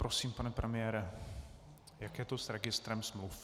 Prosím, pane premiére, jak je to s registrem smluv?